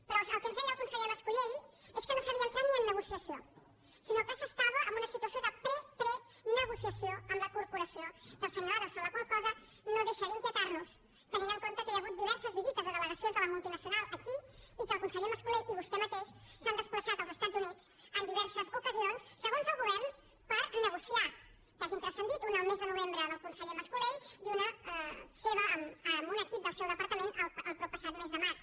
però el que ens deia el conseller mas colell és que no s’havia entrat ni en negociació sinó que s’estava en una situació de preprenegociació amb la corporació del senyor adelson la qual cosa no deixa d’inquietar nos tenint en compte que hi ha hagut diverses visites de delegacions de la multinacional aquí i que el conseller mascolell i vostè mateix s’han desplaçat als estats units en diverses ocasions segons el govern per negociar que hagin transcendit una el mes de novembre del conseller mas colell i una seva amb un equip del seu departament el proppassat mes de març